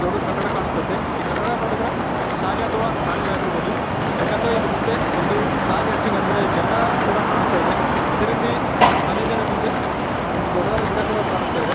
ದೊಡ್ಡದು ಕಟ್ಟಡ ಕಾಣಿಸ್ತಾ ಇದೆ . ಈ ಕಟ್ಟಡ ನೋಡಿದರೆ ಶಾಲೆ ಅಥವಾ ಕಾಲೇಜು ಆಗಿರಬಹುದು ಯಾಕೆಂದರೆ ಇಲ್ಲಿ ಮುಂದೆ ಒಂದು ಫ್ಲಾಗ್‌ ಹಾಸ್ಟಿಂಗ್‌ ಅಂದರೆ ಜನ ಕೂಡ ಕಾಣಿಸ್ತಾ ಇದೆ . ಅದೇ ರೀತಿ ಕಾಲೇಜಿನ ಮುಂದೆ ಒಂದು ದೊಡ್ಡದಾದ ಗಿಡ ಕೂಡ ಕಾಣಿಸ್ತಾ ಇದೆ.